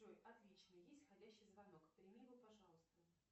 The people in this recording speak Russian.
джой отлично есть входящий звонок прими его пожалуйста